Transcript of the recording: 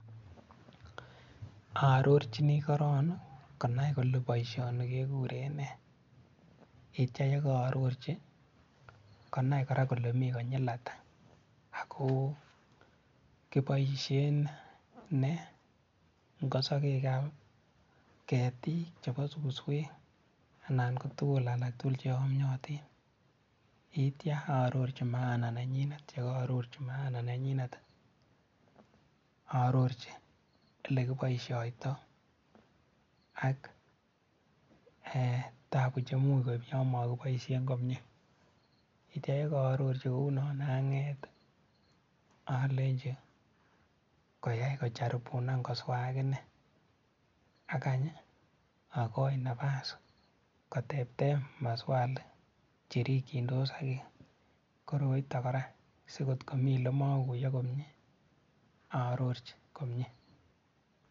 Arorchini korong konai kolee boishoni kekuren nee, yeityo yeko arorchi konai kora kolee mii konyil ataa ak ko kiboishen nee ng'osokekab ketiik chebo suswek anan ko tukun alak tukul cheyomnyotin, yeityo arorchi maana nenyinet yeityo ko ororchi maana nenyinet arorchi elekiboishoitoi ak tabuu chemuch koib yoon mokiboishen komiee, yeityo kaarorchi kounon ang'eet olenchi koyai kacharibunan koswaa akinee ak any okoii nabas koteb teb maswali cherikyindos ak koroiton kora sikot komii yemokuiyo komie arorchi komie.